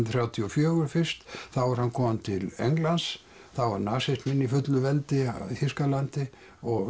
þrjátíu og fjögur fyrst þá er hann kominn til Englands þá var nasisminn í fullu veldi í Þýskalandi og